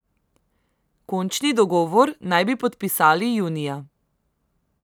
Končni dogovor naj bi podpisali junija.